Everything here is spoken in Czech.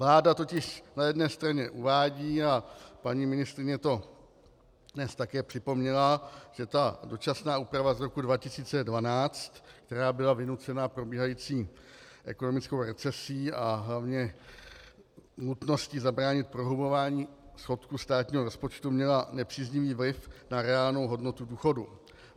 Vláda totiž na jedné straně uvádí a paní ministryně to dnes také připomněla, že ta dočasná úprava z roku 2012, která byla vynucena probíhající ekonomickou recesí a hlavně nutností zabránit prohlubování schodku státního rozpočtu, měla nepříznivý vliv na reálnou hodnotu důchodu.